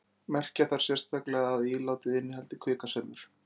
merkja þarf sérstaklega að ílátið innihaldi kvikasilfur